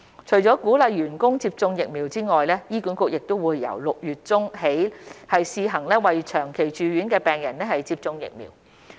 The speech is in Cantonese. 除了鼓勵員工接種疫苗外，醫管局亦由6月中起試行為長期住院的病人接種疫苗。